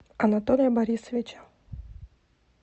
анатолия борисовича